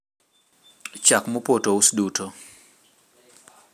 chak mopoto ous duto